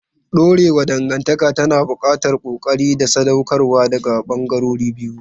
Dorewar dangantaka tana buƙatar ƙoƙari da sadaukarwa daga ɓangarorin biyu.